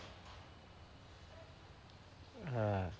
হ্যাঁ।